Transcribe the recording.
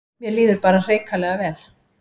Mér líður bara hrikalega vel